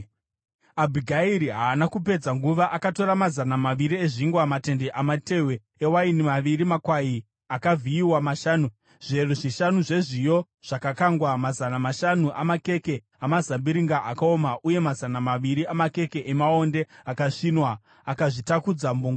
Abhigairi haana kupedza nguva. Akatora mazana maviri ezvingwa, matende amatehwe ewaini maviri, makwai akavhiyiwa mashanu, zviyero zvishanu zvezviyo zvakakangwa, mazana mashanu amakeke amazambiringa akaoma uye mazana maviri amakeke amaonde akasvinwa, akazvitakudza mbongoro.